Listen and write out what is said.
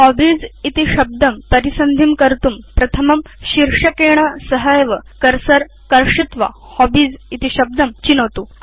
hobbies इति शब्दं परिसन्धिं कर्तुं प्रथमं शीर्षकेण सहैव बाणं कर्षित्वा हॉबीज इति शब्दं चिनोतु